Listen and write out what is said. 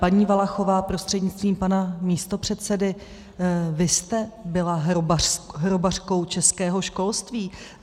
Paní Valachová prostřednictvím pana místopředsedy, vy jste byla hrobařkou českého školství.